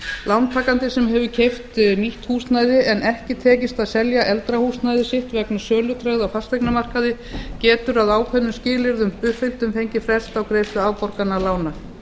lántakandi sem hefur keypt nýtt húsnæði en ekki tekist að selja eldra húsnæði sitt vegna sölutregðu á fasteignamarkaði getur að ákveðnum skilyrðum uppfylltum fengið frest á greiðslu afborgana lána